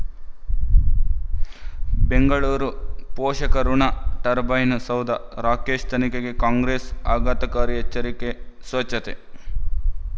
ಬೆಂಗಳೂರು ಪೋಷಕಋಣ ಟರ್ಬೈನು ಸೌಧ ರಾಕೇಶ್ ತನಿಖೆಗೆ ಕಾಂಗ್ರೆಸ್ ಆಘಾತಕಾರಿ ಎಚ್ಚರಿಕೆ ಸ್ವಚ್ಛತೆ